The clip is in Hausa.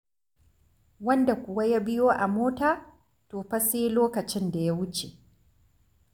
Wanda kuwa ya biyo a mota to fa sai lokacin da ya wuce.